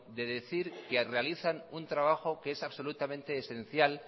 de decir que realizan un trabajo que es absolutamente esencial